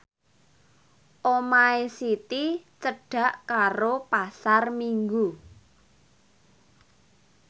omahe Siti cedhak karo Pasar Minggu